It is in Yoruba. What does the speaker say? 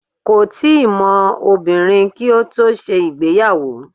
Kò tíì mọ obìnrin kí ó tó ṣe ìgbéyàwó.